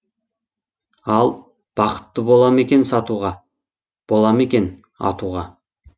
ал бақытты бола ма екен сатуға бола ма екен атуға